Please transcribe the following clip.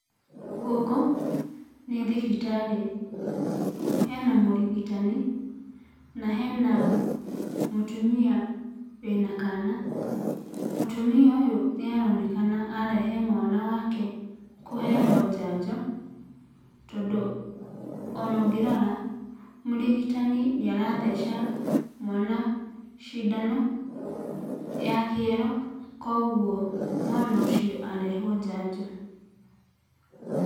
Gũkũ nĩ thibitarĩ. Hena mũrigitani na hena mũtumia wĩna kana. Mũtumia ũyũ nĩ aronekana arehe mwana wake kũheo njanjo, tondũ onongĩrora mũrigitani nĩ aratheca mwana cindano ya kĩero, Koguo mwana ũcio arehwo njanjo.